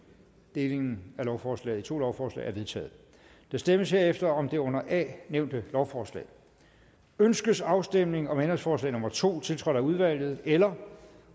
delingen af lovforslaget i to lovforslag er vedtaget der stemmes herefter om det under a nævnte lovforslag ønskes afstemning om ændringsforslag nummer to tiltrådt af udvalget eller